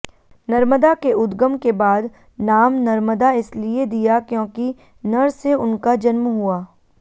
नर्मदा के उद्गम के बाद नाम नर्मदा इसलिए दिया क्योंकि नर से उनका जन्म हुआ